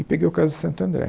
E peguei o caso de Santo André.